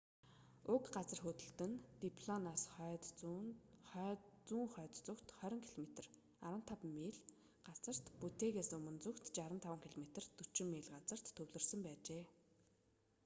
уг газар хөдлөлт нь диллоноос хойд-зүүн хойд зүгт 20 км 15 миль газарт буттэгээс өмнө зүгт 65 км 40 миль газарт төвлөрсөн байжээ